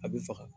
A bɛ faga